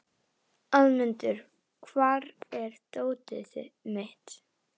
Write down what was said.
Hvað er það sem þú vilt ónáttúran þín?